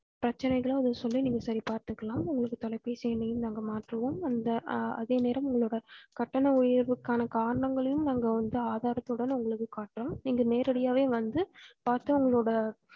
பிரச்சனைகளை நீங்க சொல்லி நீங்க சரி பாத்துக்கலாம் உங்க தொலைபேசி எண்ணையும் நாங்க மாத்துவோம் அந்த ஹா அதே நேரம் ஹா உங்களோட கட்டண உயர்வுகாண காரணங்களும் நாங்க வந்து ஆதாரத்துடன் எடுத்து காட்டுவோம் நீங்க நேரடியவே வந்து பாத்து உங்களோட